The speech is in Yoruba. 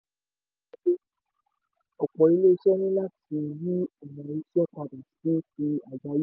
ọ̀pọ̀ iléeṣẹ́ ní láti yí ọ̀nà iṣẹ́ padà sí ti àgbá